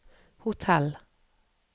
hotell